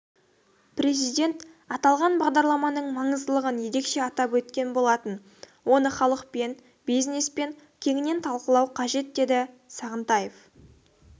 президент аталған бағдарламаның маңыздылығын ерекше атап өткен болатын оны халықпен бизнеспен кеңінен талқылау қажет деді сағынтаев